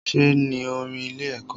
Ṣe ní orin ilé ẹ̀kọ́?